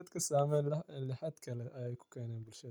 Daadka saameen lixatlex ayukukeena bulshada.